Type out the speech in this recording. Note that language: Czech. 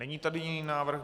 Není tady jiný návrh.